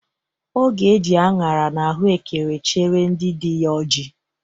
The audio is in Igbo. Ọ ga-eje aṅara na ahụekere chere ndị dị ya ọjị